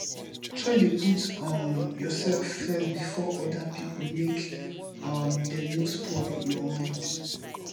try de put um yourself first before other pipo make um dem no spoil your mind